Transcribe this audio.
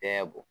Bɛɛ bo